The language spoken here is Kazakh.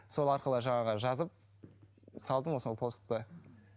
сол арқылы жаңағы жазып салдым ол сол посты